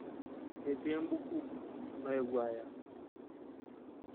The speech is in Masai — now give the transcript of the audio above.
Ketii embuku nayewuo aya .